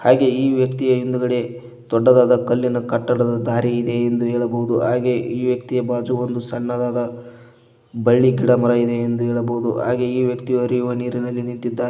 ಹಾಗೆ ಈ ವ್ಯಕ್ತಿಯ ಹಿಂದ್ಗಡೆ ದೊಡ್ಡದಾದ ಕಲ್ಲಿನ ಕಟ್ಟಡದ ದಾರಿ ಇದೆ ಎಂದು ಹೇಳಬಹುದು ಹಾಗೆ ಈ ವ್ಯಕ್ತಿಯ ಬಾಜು ಒಂದು ಸಣ್ಣದಾದ ಬಳ್ಳಿ ಗಿಡ ಮರ ಇದೆ ಎಂದು ಹೇಳಬಹುದು ಹಾಗೆ ಈ ವ್ಯಕ್ತಿ ಹರಿಯುವ ನೀರಿನಲ್ಲಿ ನಿಂತಿದ್ದಾನೆ.